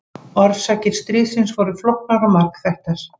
Orsakir stríðsins voru flóknar og margþættar.